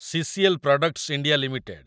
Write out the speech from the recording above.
CCL products India limited